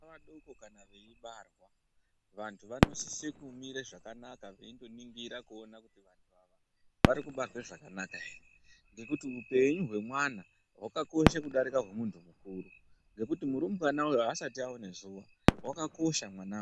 Vana vadoko kana veibarwa vantu vanosise kumire zvakanaka veindoningira kuti vantu ava vabarwe zvakanaka ere ngekuti upenyu hwemwana hwakakosha kudarike hwemuntu mukuru ngekuti murumbwana uyu asati aone zuwa wakakosha mwanawo.